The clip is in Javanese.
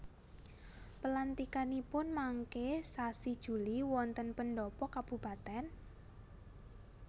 Pelantikanipun mangke sasi Juli wonten pendhopo kabupaten?